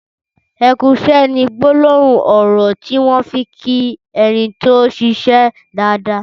''Ẹ kù iṣẹ'' ni gbólóhùn ọrọ tiwọn fi n kí ẹ ni tó n ṣiṣẹ dààdàà